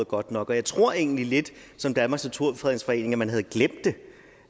godt nok og jeg tror egentlig lidt som danmarks naturfredningsforening sagde at man havde glemt det